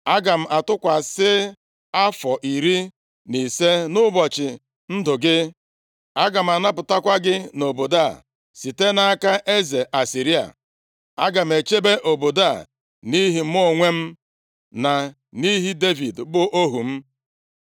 Aga m atụkwasị afọ iri na ise nʼụbọchị ndụ gị. Aga m anapụtakwa gị na obodo a site nʼaka eze Asịrịa. Aga m echebe obodo a nʼihi mụ onwe m, na nʼihi Devid, bụ ohu m.’ ”